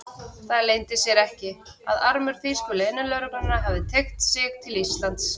Það leyndi sér ekki, að armur þýsku leynilögreglunnar hafði teygt sig til Íslands.